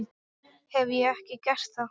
Hef ég ekki gert það?